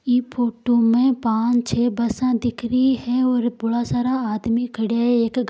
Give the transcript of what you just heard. यह फोटो में पाच छ बस दिख रही है और बहुत सारा आदमी खड़े है एक --